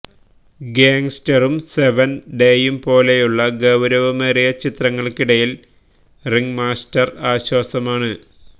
ഗ്യാംഗ്സ്റ്ററും Seventh ഡേയും പോലെയുള്ള ഗൌരവമേറിയ ചിത്രങ്ങള്ക്കിടയില് റിംഗ്മാസ്റ്റര് ആശ്വാസമാണ്